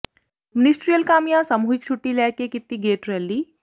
ministerial ਕਾਮਿਆਂ ਸਮੂਹਿਕ ਛੱੁਟੀ ਲੈ ਕੇ ਕੀਤੀ ਗੇਟ ਰੈਲੀ